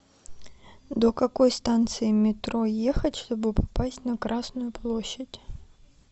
до какой станции метро ехать чтобы попасть на красную площадь